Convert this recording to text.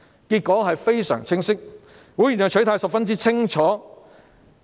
結果非常清晰，會員的取態十分清楚。